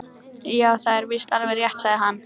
Já, það er víst alveg rétt sagði hann.